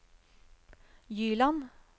Gyland